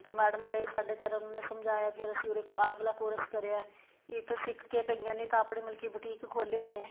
ਤਾਂ ਮੈਡਮ ਗਏ ਸਾਡੇ ਘਰ ਉਹਨਾ ਨੇ ਸਮਝਾਇਆ ਫ਼ੇਰ ਅਸੀਂ ਉੱਰੇ ਆ ਵਾਲਾ course ਕਰਿਆ ਏ ਇੱਕ ਸਿੱਖਕੇ ਕਈਆਂ ਨੇ ਆਪਣੇ ਮਤਲਬ ਕੀ ਬੂਟੀਕ ਖੋਲੋ ਹੋਏ ਏ